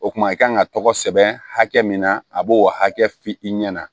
O kuma i kan ka tɔgɔ sɛbɛn hakɛ min na a b'o hakɛ f'i ɲɛna